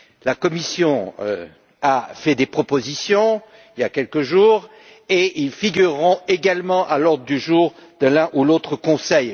La Commission a fait des propositions il y a quelques jours, lesquelles figureront également à l'ordre du jour de l'un ou l'autre Conseil.